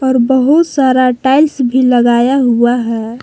और बहुत सारा टाइल्स भी लगाया हुआ है।